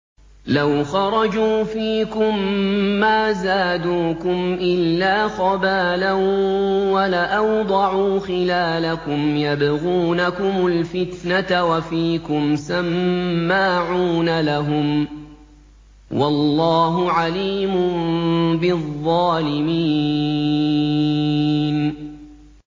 لَوْ خَرَجُوا فِيكُم مَّا زَادُوكُمْ إِلَّا خَبَالًا وَلَأَوْضَعُوا خِلَالَكُمْ يَبْغُونَكُمُ الْفِتْنَةَ وَفِيكُمْ سَمَّاعُونَ لَهُمْ ۗ وَاللَّهُ عَلِيمٌ بِالظَّالِمِينَ